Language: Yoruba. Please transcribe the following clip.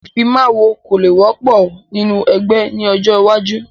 Ìfimawo kò le wọ́pọ̀ nínú ẹgbẹ́ ni ọjọ́ iwájú